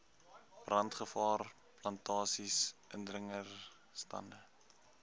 brandgevaar plantasies indringerstande